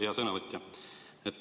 Hea sõnavõtja!